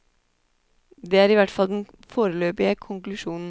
Det er i hvert fall den foreløpige konklusjonen.